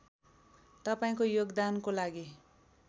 तपाईँको योगदानको लागि